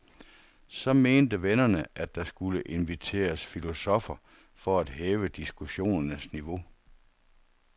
Så mente vennerne, at der skulle inviteres filosoffer for at hæve diskussionernes niveau.